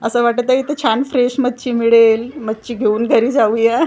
असं वाटत आहे इथं छान फ्रेश मच्छी मिळेल मच्छी घेऊन घरी जाऊया.